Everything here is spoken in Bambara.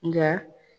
Nka